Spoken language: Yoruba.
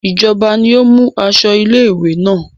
Ìjọba ni ó mú aṣọ ilé-ìwé náà.